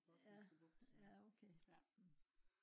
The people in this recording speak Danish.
ja ja okay